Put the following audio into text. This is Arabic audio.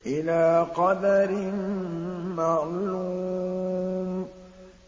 إِلَىٰ قَدَرٍ مَّعْلُومٍ